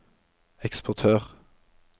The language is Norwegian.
eksportør